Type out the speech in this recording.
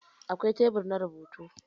Akwai tebur na rubutu.